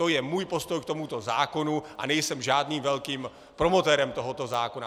To je můj postoj k tomuto zákonu, a nejsem žádným velkým promotérem tohoto zákona.